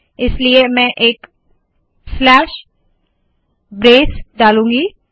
इसलिए मैं एक स्लैश ब्रेस डालूंगी